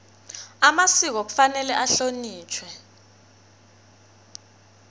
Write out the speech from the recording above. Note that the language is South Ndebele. amasiko kufanele ahlonitjhwe